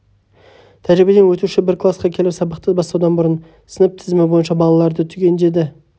тәжірибеден өтуші бір класқа келіп сабақты бастаудан бұрын сынып тізімі бойынша балаларды түгендеді